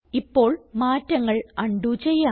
ഇപ്പോൾ മാറ്റങ്ങൾ ഉണ്ടോ ചെയ്യാം